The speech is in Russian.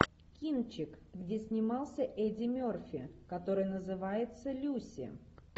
кинчик где снимался эдди мерфи который называется люси